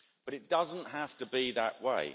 But it doesn't have to be that way.